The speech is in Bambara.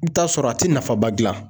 I bi t'a sɔrɔ a ti nafaba gila.